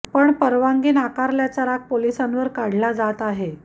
पण परवानगी नाकारल्याचा राग पोलिसांवर काढला जात आहे